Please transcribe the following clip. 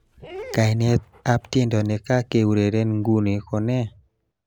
Kainatab tiendo nekakiureren nguni ko ne?